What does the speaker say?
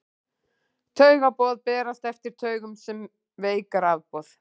taugaboð berast eftir taugum sem veik rafboð